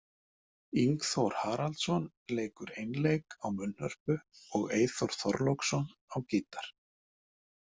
Ingþór Haraldsson leikur einleik á munnhörpu og Eyþór Þorláksson á gítar.